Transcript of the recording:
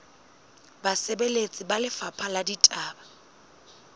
basebeletsi ba lefapha la ditaba